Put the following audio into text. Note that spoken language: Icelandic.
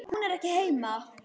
Hún er ekki heima.